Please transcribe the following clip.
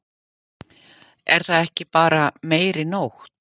Er það ekki bara meiri nótt?